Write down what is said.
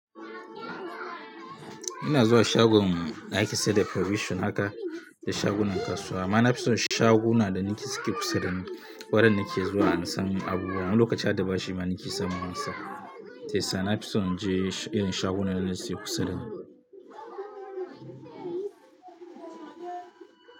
Ina zuwa shagon na ake sayar da provision haka da shagunan kasuwa. Amma na fi son shaguna da ninki suke kusa da ni. Wadan na ke zuwa an san abubuwan. Lokaci hada bashi ma ninki sama wasa. Tesa na fi son je irin shagunan da na suke kusa da ni.